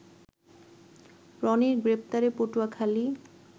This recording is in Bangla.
রনির গ্রেপ্তারে পটুয়াখালী